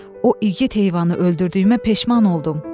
O igid heyvanı öldürdüyümə peşman oldum.